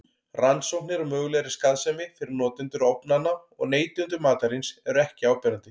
Rannsóknir á mögulegri skaðsemi fyrir notendur ofnanna og neytendur matarins eru ekki áberandi.